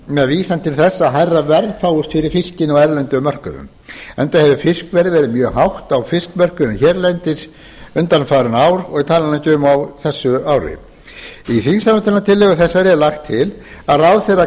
með vísan til þess að hærra verð fáist fyrir fiskinn á erlendum mörkuðum enda hefur fiskverð verið mjög hátt á fiskmörkuðum hérlendis undanfarin ár og ég tala nú ekki um á þessu ári í þingsályktunartillögu þessari er lagt til að ráðherra